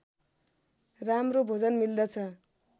राम्रो भोजन मिल्दछ